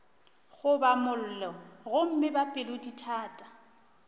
goba mollo gomme ba pelodithata